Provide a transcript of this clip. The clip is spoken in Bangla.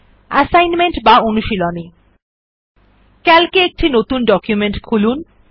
অ্যাসাইনমেন্ট বা অনুশীলনী সিএএলসি এ একটি নতুন ডকুমেন্ট খুলুন